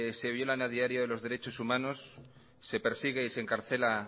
se violan a diarios los derechos humanos se persigue y se encarcela